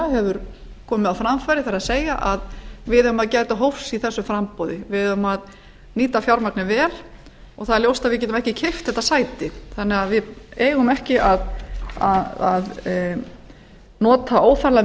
hefur komið á framfæri það er að við eigum að gæta hófs í þessu framboði við eigum að nýta fjármagnið vel og það er ljóst að við getum ekki keypt þetta sæti við eigum því ekki að nota óþarflega